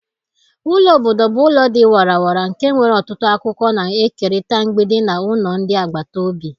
Ụlọ obodo bụ ụlọ dị warara nke nwere ọtụtụ akụkọ na-ekerịta mgbidi na ụlọ ndị agbata obi.